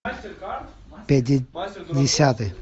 пятидесятый